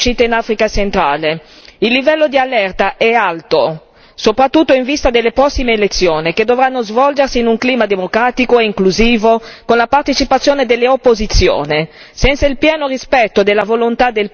Non vogliamo assistere inermi ad un nuovo genocidio in Africa centrale. Il livello di allerta è alto, soprattutto in vista delle prossime elezioni, che dovranno svolgersi in un clima democratico e inclusivo, con la partecipazione delle opposizioni.